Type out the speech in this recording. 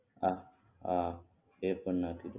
હા હા એ પણ નાખી દઉં